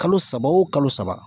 Kalo saba o kalo saba